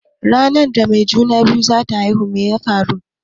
Ranar da mai juna-biyu zata haihu meke faruwa?